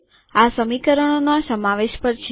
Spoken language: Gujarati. આ સમીકરણોના સમાવેશ પર છે